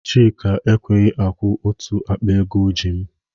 Chika ekweghị akwụ otu akpa ego ọ ji m